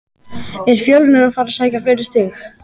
Er Fjölnir að fara að sækja fleiri stig?